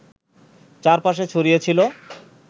চারপাশে ছড়িয়ে ছিল